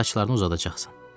saçlarını uzadacaqsan.